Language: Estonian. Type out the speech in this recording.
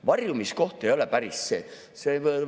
Varjumiskoht ei ole päris see.